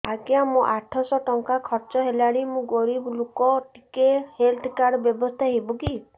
ଆଜ୍ଞା ମୋ ଆଠ ସହ ଟଙ୍କା ଖର୍ଚ୍ଚ ହେଲାଣି ମୁଁ ଗରିବ ଲୁକ ଟିକେ ହେଲ୍ଥ କାର୍ଡ ବ୍ୟବସ୍ଥା ହବ କି